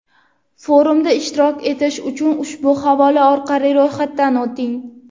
Forumda ishtirok etish uchun ushbu havola orqali ro‘yxatdan o‘ting.